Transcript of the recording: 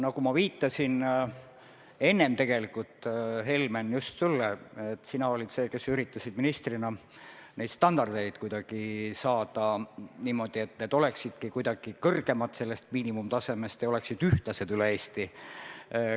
Nagu ma enne viitasin, Helmen, olid just sina see, kes üritas ministrina kuidagi seada neid standardeid niimoodi, et need oleksidki kuidagi kõrgemad miinimumtasemest ja ühtlased üle Eesti.